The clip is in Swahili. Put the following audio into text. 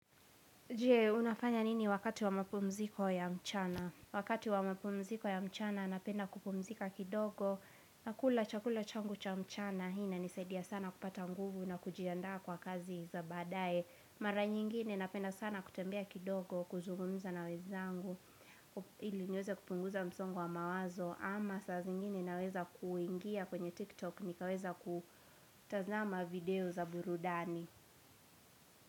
Je, unafanya nini wakati wa mapumziko ya mchana? Wakati wa mapumziko ya mchana napenda kupumzika kidogo nakula chakula changu cha mchana Hii inanisaidia sana kupata nguvu na kujiandaa kwa kazi za baadaye Mara nyingine napenda sana kutembea kidogo kuzungumza na wenzangu ili niweze kupunguza msongo wa mawazo ama saa zingine naweza kuingia kwenye TikTok nikaweza kutazama video za burudani.